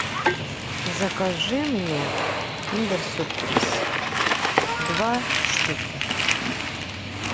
закажи мне киндер сюрприз два штуки